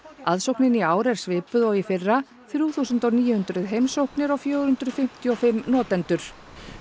aðsóknin í ár er svipuð og í fyrra þrjú þúsund níu hundruð heimsóknir og fjögur hundruð fimmtíu og fimm notendur